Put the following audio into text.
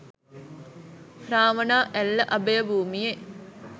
Ravana Ella අභයභූමියෙ